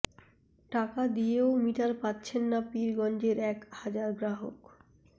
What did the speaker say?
টাকা দিয়েও মিটার পাচ্ছেন না পীরগঞ্জের এক হাজার গ্রাহক